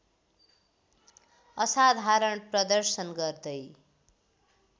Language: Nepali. असाधारण प्रदर्शन गर्दै